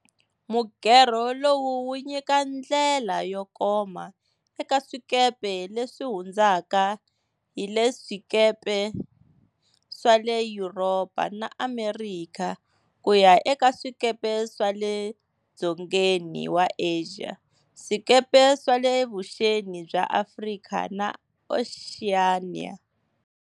Mugerho lowu wu nyika ndlela yo koma eka swikepe leswi hundzaka hi le swikepe swa le Yuropa na Amerika ku ya eka swikepe swa le dzongeni wa Asia, swikepe swa le vuxeni bya Afrika na Oceania.